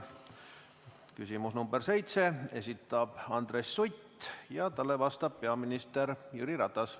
See on küsimus nr 7, mille esitab Andres Sutt ja talle vastab peaminister Jüri Ratas.